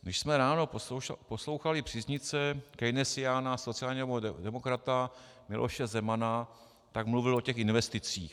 Když jsme ráno poslouchali příznivce keynesiána, sociálního demokrata Miloše Zemana, tak mluvil o těch investicích.